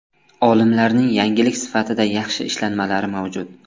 Olimlarning yangilik sifatida yaxshi ishlanmalari mavjud.